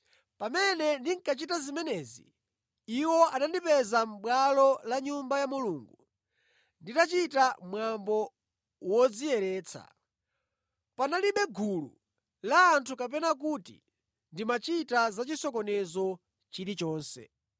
Pamene ndinkachita zimenezi, iwo anandipeza mʼbwalo la Nyumba ya Mulungu nditachita mwambo wodziyeretsa. Panalibe gulu la anthu kapena kuti ndimachita za chisokonezo chilichonse.